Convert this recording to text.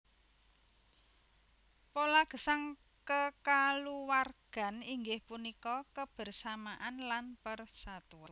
Pola gesang kekaluwargan inggih punika kebersamaan lan persatuan